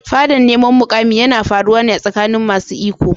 Fadan neman mukami yana faruwa ne a tsakanin masu iko.